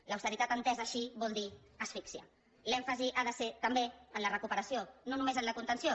l’austeritat entesa així vol dir asfixia l’èmfasi ha de ser també en la recuperació no només en la contenció